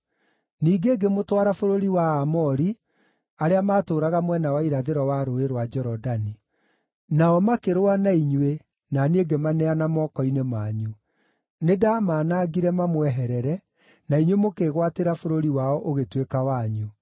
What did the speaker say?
“ ‘Ningĩ ngĩmũtwara bũrũri wa Aamori arĩa maatũũraga mwena wa irathĩro wa Rũũĩ rwa Jorodani. Nao makĩrũa na inyuĩ na niĩ ngĩmaneana moko-inĩ manyu. Nĩndamaanangire mamweherere, na inyuĩ mũkĩĩgwatĩra bũrũri wao ũgĩtuĩka wanyu.